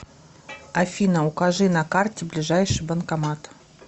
афина укажи на карте ближайший банкомат